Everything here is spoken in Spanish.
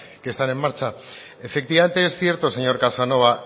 que están en marcha efectivamente es cierto señor casanova